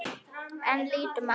En lítum á.